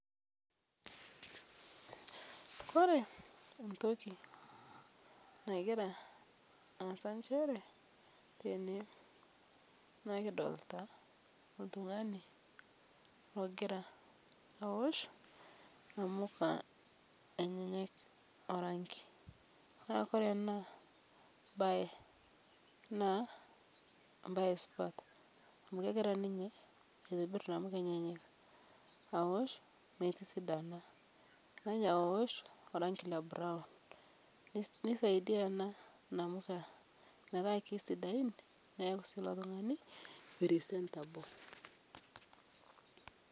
Ore entoki nagira aasa njere naa kidolita oltungani ogira aosh inamuka orangi naa ore enaa naa imbaa esipata amu kegira ninye aitobir imbaa esipata amu egira aosh metisidana orangi ng'iro nisaidia ena inamuka metaa siadain niaku ilo tungani presentable